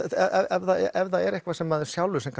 ef það er eitthvað sem maður sjálfur sem